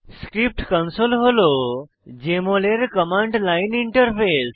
script console হল JML এর command line interface